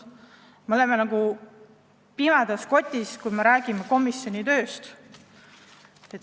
Me oleme nagu pimedas kotis, kui me räägime komisjoni tööst.